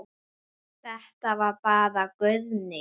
Þetta var bara Guðný.